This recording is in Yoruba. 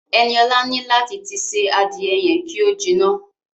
Ẹniọ̀la ní láti tí ṣé adìẹ yẹn ki o jiná.